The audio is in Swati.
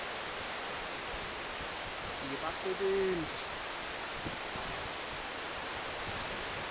yebasebenti